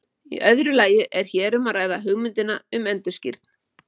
Í öðru lagi er hér um að ræða hugmyndina um endurskírn.